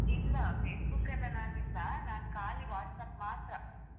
ಇಲ್ಲಾ Facebook ಲ್ಲ್ ನಾನು ಇಲ್ಲಾ ನಾನು ಖಾಲಿ WhatsApp ಮಾತ್ರ.